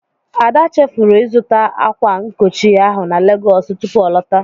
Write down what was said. Ada chefuru ịzụta ákwà nkochi ahụ na Legọọsụ tupu ọ lọta.